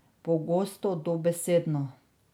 Pogosto dobesedno.